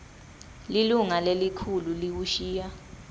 lilunga lelikhulu liwushiya